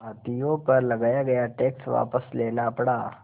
भारतीयों पर लगाया गया टैक्स वापस लेना पड़ा